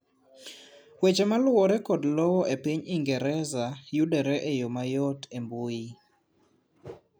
weche maluwore kod lowo e piny ingereza yudore e yoo mayot e mbui